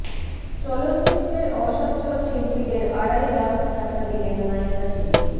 চলচ্চিত্রের অসচ্ছল শিল্পীদের আড়াই লাখ টাকা দিলেন নায়িকা শিল্পী